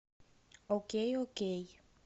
окей окей